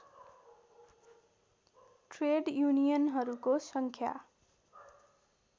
trade युनियनहरूको सङ्ख्या